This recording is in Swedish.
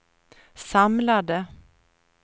samlade